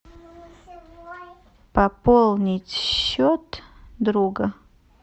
пополнить счет друга